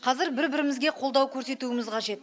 қазір бір бірімізге қолдау көрсетуіміз қажет